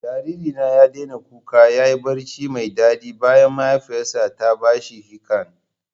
Jariri na ya daina kuka ya yi barci mai daɗi bayan mahaifiyarsa ta ba shi ficcan